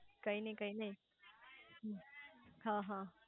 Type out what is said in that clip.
કઈ નઈ કઈ નઈ અહ